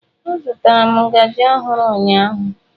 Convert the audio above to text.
Azụtara m ngaji ọhụrụ ụnyaahụ.